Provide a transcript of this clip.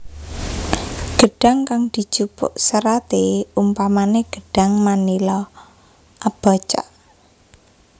Gedhang kang dijupuk seraté umpamané gedhang manila abaca